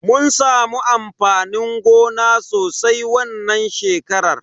Mun samu amfanin gona sosai wannan shekarar.